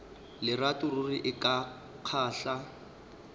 lerato ruri e ka kgahla